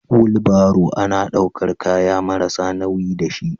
Wulbaro ana daukar kananan kaya marasa nauyi da shi.